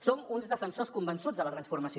som uns defensors convençuts de la transformació